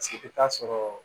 Paseke i bɛ taa sɔrɔ